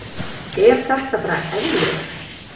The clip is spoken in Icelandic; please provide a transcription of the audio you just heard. Er þetta bara eðlilegt?